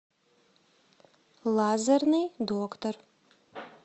лазерный доктор